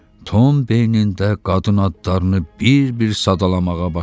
Tom beynində qadın adlarını bir-bir sadalamağa başladı.